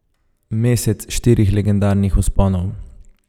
Mesec štirih legendarnih vzponov.